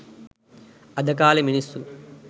අද කාලේ මිනිස්සු